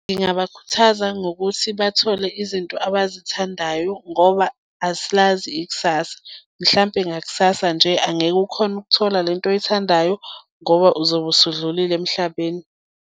Ngingabakhuthaza ngokuthi bathole izinto abazithandayo ngoba asilazi ikusasa mhlampe ngakusasa nje angeke ukhone ukuthola lento oyithandayo ngoba uzobe usudlulile emhlabeni.